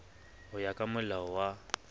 ho ya ka molao wa